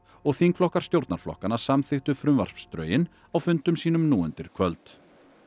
og þingflokkar stjórnarflokkanna samþykktu frumvarpsdrögin á fundum sínum nú undir kvöld